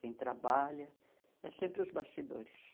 Quem trabalha é sempre os bastidores.